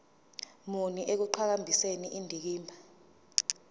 muni ekuqhakambiseni indikimba